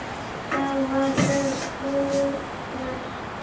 Þá var það útrætt.